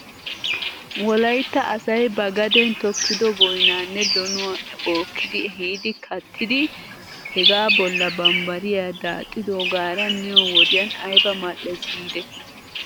Wolaytta asay ba gaden tokkido boynaanne donuwaa bookki ehiidi kattidi hegaa bolla bambbariyaa daaxxidoogaara miyoo wodiyan ayba mal'es giidetii .